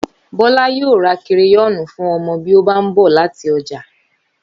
Bólá yóò ra kereyóònù fún omo bí ó bá n bò láti ojà